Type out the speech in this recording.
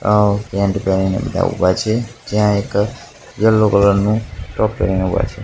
આ પેન્ટ પહેરીને બધા ઊભા છે જ્યાં એક યેલો કલર નુ ફ્રોક પહેરીને ઊભા છે.